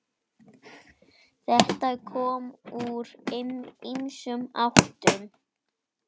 Þetta kom úr ýmsum áttum.